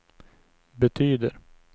betyder